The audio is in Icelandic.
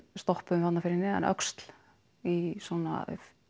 stoppuðum þarna fyrir neðan öxl í svona